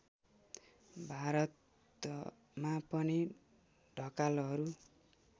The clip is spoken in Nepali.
भारतमा पनि ढकालहरू